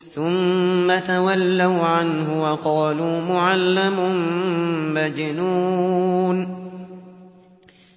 ثُمَّ تَوَلَّوْا عَنْهُ وَقَالُوا مُعَلَّمٌ مَّجْنُونٌ